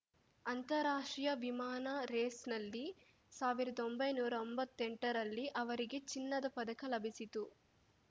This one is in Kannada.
ಅಂತಾರಾಷ್ಟ್ರೀಯ ವಿಮಾನ ರೇಸ್‌ನಲ್ಲಿ ಸಾವಿರ್ದೊಂಬೈನೂರಾ ಒಂಬತ್ತೆಂಟರಲ್ಲಿ ಅವರಿಗೆ ಚಿನ್ನದ ಪದಕ ಲಭಿಸಿತ್ತು